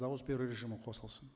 дауыс беру режимі қосылсын